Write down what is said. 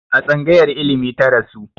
A tsangayar ilimi ta rasu